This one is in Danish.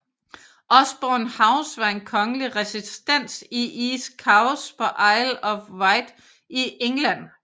Osborne House var en kongelig residens i East Cowes på Isle of Wight i England